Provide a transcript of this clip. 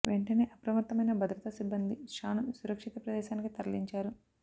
వెంటనే అప్రమత్తమైన భద్రతా సిబ్బంది షా ను సురక్షిత ప్రదేశానికి తరలించారు